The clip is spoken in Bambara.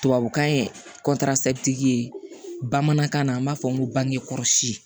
Tubabukan ye ye bamanankan na an b'a fɔ n ko bangekɔlɔsi